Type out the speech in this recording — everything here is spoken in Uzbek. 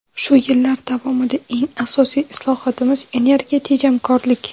Shu yillar davomida eng asosiy islohotimiz – energiya tejamkorlik.